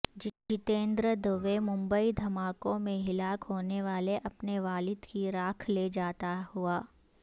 جتیندرا دوے ممبئی دھماکوں میں ہلاک ہونے والے اپنے والد کی راکھ لے جاتا ہوا